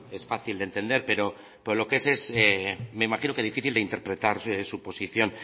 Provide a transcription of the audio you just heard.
es fácil de entender pero lo que es es difícil de interpretar su posición